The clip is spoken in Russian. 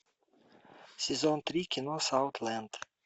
сезон три кино саутленд